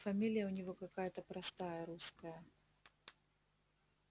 фамилия у него какая-то простая русская